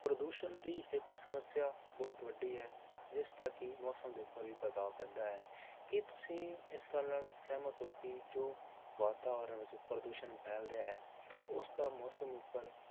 ਪ੍ਰਦੂਸ਼ਣ ਦੀ ਇੱਕ ਸਮੱਸਿਆ ਬਹੁਤ ਵੱਡੀ ਹੈ, ਜਿਸਦਾ ਕਿ ਮੌਸਮ ਦੇ ਉੱਪਰ ਵੀ ਪ੍ਰਭਾਵ ਪੈਂਦਾ ਹੈ ਕੀ ਤੁਸੀਂ ਇਸ ਗੱਲ ਨਾਲ ਸਹਿਮਤ ਹੋ ਕਿ ਜੋ ਵਾਤਾਵਰਨ ਵਿੱਚ ਪ੍ਰਦੂਸ਼ਣ ਫੈਲ ਰਿਹਾ ਹੈ, ਉਸਦਾ ਮੌਸਮ ਉੱਪਰ